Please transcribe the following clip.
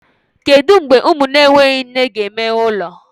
Kedu mgbe ụmụ na-enweghị nne ga-emeghe ụlọ?